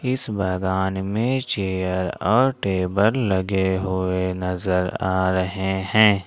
इस बागान में चेयर और टेबल लगे हुए नजर आ रहे हैं।